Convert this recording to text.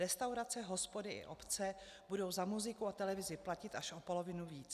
Restaurace, hospody i obce budou za muziku i televizi platit až o polovinu víc.